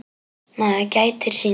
Maður gætir sín.